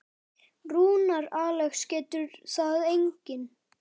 Rúnar Alex getur það einnig.